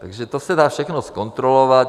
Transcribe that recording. Takže to se dá všechno zkontrolovat.